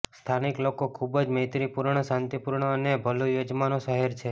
સ્થાનિક લોકો ખૂબ જ મૈત્રીપૂર્ણ શાંતિપૂર્ણ અને ભલું યજમાનો શહેર છે